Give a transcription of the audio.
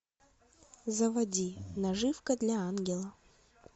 заводи наживка для ангела